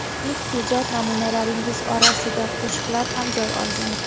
Ilk ijod namunalaringiz orasida qo‘shiqlar ham joy olgan.